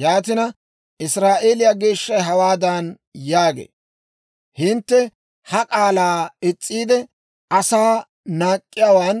Yaatina, Israa'eeliyaa Geeshshay hawaadan yaagee; «Hintte ha k'aalaa is's'iide, asaa naak'k'iyaawaan